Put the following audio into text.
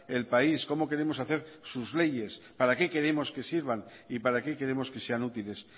el país cómo queremos hacer sus leyes para qué queremos que sirvan y para qué queremos que sean útiles